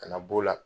Ka na b'o la